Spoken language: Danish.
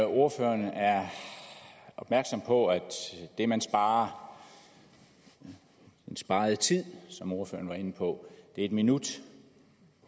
ordføreren er opmærksom på at det man sparer den sparede tid som ordføreren var inde på er en minut